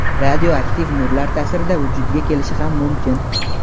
radioaktiv nurlar ta’sirida vujudga kelishi ham mumkin.